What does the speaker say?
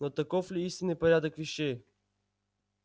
но таков ли истинный порядок вещей